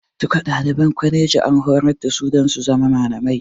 Duka ɗaliban kwaleji an horar da su dan su zama malamai